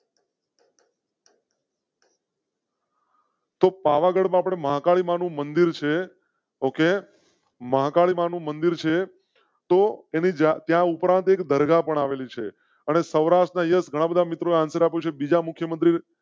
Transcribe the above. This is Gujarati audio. તો પાવાગઢ મહાકાળી માં નું મંદિર. મહાકાળી માં નું મંદિર તો ત્યાં ઉપરાંત એક દરગાહ પણ આવેલી છે અને સૌરાષ્ટ્ર ઘણા બધા મિત્રો અને બીજા મુખ્ય મંત્રી.